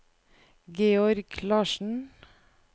Georg Larsen